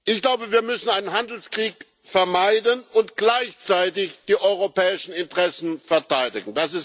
Ich glaube, wir müssen einen Handelskrieg vermeiden und gleichzeitig die europäischen Interessen verteidigen.